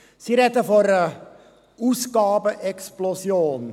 Sie sprechen von einer Ausgabenexplosion.